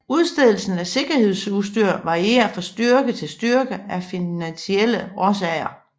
Udstedelsen af sikkerhedsudstyr varierer fra styrke til styrke af finansielle årsager